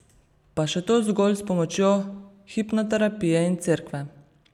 Pa še to zgolj s pomočjo hipnoterapije in Cerkve.